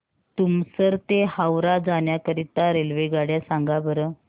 तुमसर ते हावरा जाण्या करीता रेल्वेगाड्या सांगा बरं